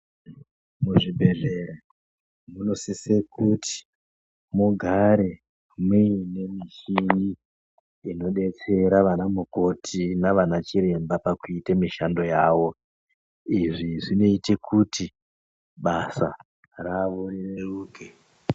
Kuzvibhedhlera zvinosisira kuti mugare muine michinj inodetsera ana mukoti nanachiremba pakuite mishando yavo izvi zvinoite kuti basa ravo rireruke.